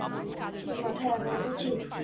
মাথায় আনা উচিত ।